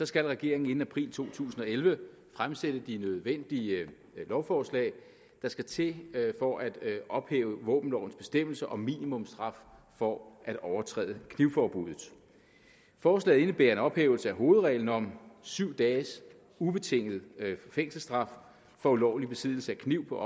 skal regeringen inden april to tusind og elleve fremsætte de nødvendige lovforslag der skal til for at ophæve våbenlovens bestemmelser om minimumsstraf for at overtræde knivforbuddet forslaget indebærer en ophævelse af hovedreglen om syv dages ubetinget fængselsstraf for ulovlig besiddelse af kniv på